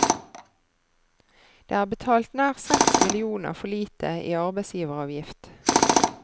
Det er betalt nær seks millioner for lite i arbeidsgiveravgift.